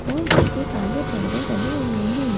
और पीछे काले परदे डले हुए हैं ।